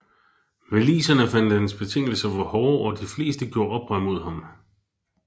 Waliserne fandt hans betingelser for hårde og de fleste gjorde oprør mod ham